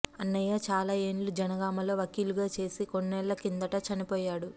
అన్నయ్య చాలా ఏండ్లు జనగామలో వకీలుగా చేసి కొన్నేండ్ల కిందట చనిపోయాడు